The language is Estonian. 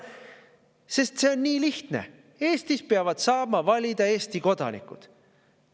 Sest see on nii lihtne: Eestis peavad saama valida Eesti kodanikud.